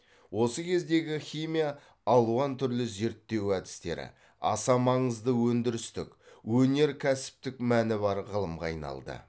осы кездегі химия алуан түрлі зерттеу әдістері аса маңызды өндірістік өнеркәсіптік мәні бар ғылымға айналды